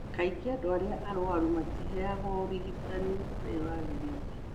Kaingĩ andũ arĩa arũaru matiheagwo ũrigitani ũrĩa wagĩrĩire.